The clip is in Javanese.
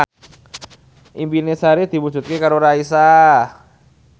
impine Sari diwujudke karo Raisa